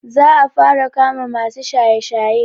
Za a fara kama masu shaye-shaye.